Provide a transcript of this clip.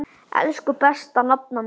Elsku besta nafna mín.